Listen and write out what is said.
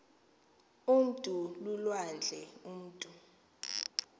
umntu lulwandle umutu